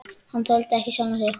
Hann þoldi ekki sjálfan sig.